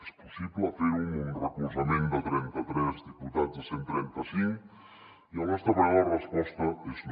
és possible ferho amb un recolzament de trentatres diputats de cent i trenta cinc i al nostre parer la resposta és no